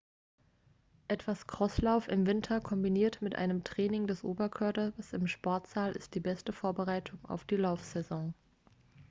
etwas crosslauf im winter kombiniert mit einem training des oberkörpers im sportsaal ist die beste vorbereitung auf die laufsaison